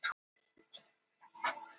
Ölfusá er vatnsmesta á landsins.